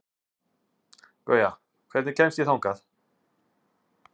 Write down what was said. Gauja, hvernig kemst ég þangað?